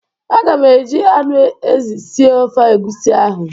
Aga m eji anụ ezi sie ofe egusi ahụ.